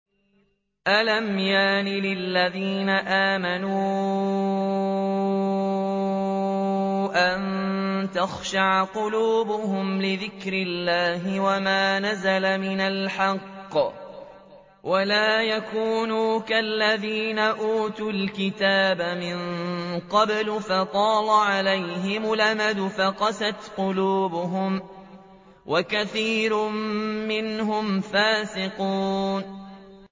۞ أَلَمْ يَأْنِ لِلَّذِينَ آمَنُوا أَن تَخْشَعَ قُلُوبُهُمْ لِذِكْرِ اللَّهِ وَمَا نَزَلَ مِنَ الْحَقِّ وَلَا يَكُونُوا كَالَّذِينَ أُوتُوا الْكِتَابَ مِن قَبْلُ فَطَالَ عَلَيْهِمُ الْأَمَدُ فَقَسَتْ قُلُوبُهُمْ ۖ وَكَثِيرٌ مِّنْهُمْ فَاسِقُونَ